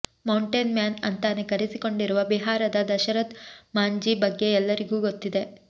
mountain man ಅಂತಾನೇ ಕರೆಸಿಕೊಂಡಿರುವ ಬಿಹಾರದ ದಶರಥ್ ಮಾಂಝಿ ಬಗ್ಗೆ ಎಲ್ಲರಿಗೂ ಗೊತ್ತಿದೆ